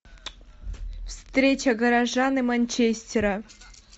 встреча горожан и манчестера